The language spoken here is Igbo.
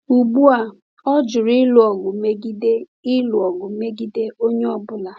Ugbu a, ọ jụrụ ịlụ ọgụ megide ịlụ ọgụ megide onye ọ bụla.